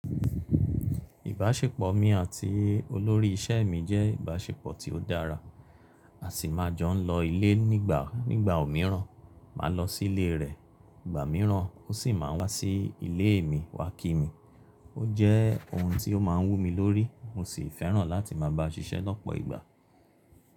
Ìbáṣepọ̀ mi àti olórí iṣẹ́ mi jẹ́ ìbáṣepọ̀ tí ó dára. A sì máa jọ ń lọ ilé nígbà ńígbà mìíràn, màá lọ sí ilé rẹ̀, ìgbà mìíràn ó sì máa wá sí ilé mi wá kí mi. Ó jẹ́ ohun tí ó máa ń wú mi lórí, mo sì fẹ́ràn láti máa bá a ṣiṣẹ́ lọ́pọ̀ ìgbà.